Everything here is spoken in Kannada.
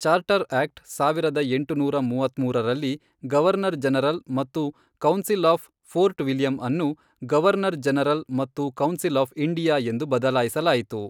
ಚಾರ್ಟರ್ ಆಕ್ಟ್ ಸಾವಿರದ ಎಂಟುನೂರ ಮೂವತ್ಮೂರರಲ್ಲಿ, ಗವರ್ನರ್ ಜನರಲ್ ಮತ್ತು ಕೌನ್ಸಿಲ್ ಆಫ್ ಫೋರ್ಟ್ ವಿಲಿಯಂ ಅನ್ನು ಗವರ್ನರ್ ಜನರಲ್ ಮತ್ತು ಕೌನ್ಸಿಲ್ ಆಫ್ ಇಂಡಿಯಾ ಎಂದು ಬದಲಾಯಿಸಲಾಯಿತು.